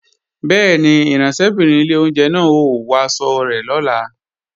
Bẹ́ẹ̀ni, ìránṣẹ́bìnrin ilé oúnjẹ náà ó wọ aṣọ iṣẹ́ rẹ̀ lọ́la